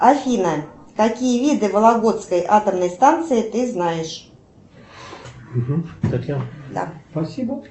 афина какие виды вологодской атомной станции ты знаешь